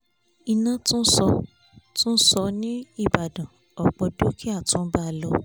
iná tún sọ tún sọ ní ìbàdàn ọ̀pọ̀ dúkìá tún báa lọ